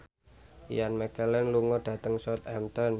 Ian McKellen lunga dhateng Southampton